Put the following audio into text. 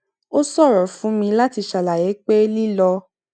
ó ṣòro fún mi láti ṣàlàyé pé lílọ